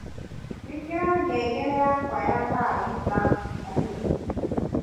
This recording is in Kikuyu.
ĩikira ngengere yakwa ya Thaa thita hwaĩ-inĩ